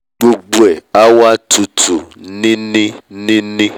gbogbo ẹ̀ á wá tutù nini